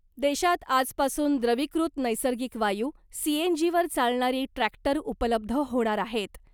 देशात आजपासून द्रवीकृत नैसर्गिक वायू सीएनजीवर चालणारे ट्रॅक्टर उपलब्ध होणार आहेत .